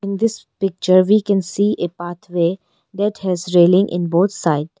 In this picture we can see a pathway that has railings in both side.